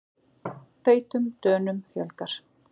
Feitum Dönum fjölgar